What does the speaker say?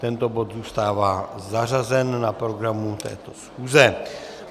Tento bod zůstává zařazen na programu této schůze.